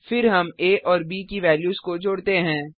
फिर हमa और ब की वेल्यूस को जोड़ते हैं